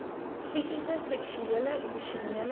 fisiese seksuele emosionele